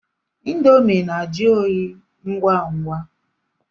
Índomi na-ajụ óyi ngwa ngwa.